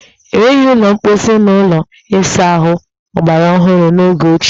E nweghi ụlọ mposi na ụlọ ịsa ahụ ọgbaraọhụrụ n'oge ochie.